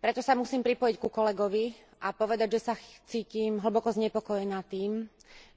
Preto sa musím pripojiť ku kolegovi a povedať, že sa cítim hlboko znepokojená tým,